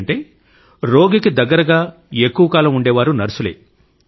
ఎందుకంటే రోగికి దగ్గరగా ఎక్కువ కాలం ఉండేవారు నర్సులే